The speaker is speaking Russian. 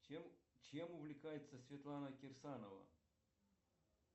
чем увлекается светлана кирсанова